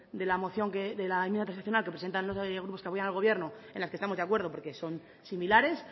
de la moción que de la enmienda transaccional que presentan los grupos que apoyan al gobierno en las que estamos de acuerdo porque son similares